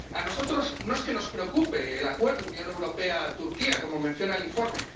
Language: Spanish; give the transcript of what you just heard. A nosotros no es que nos preocupe el Acuerdo Unión Europea Turquía, como menciona el informe.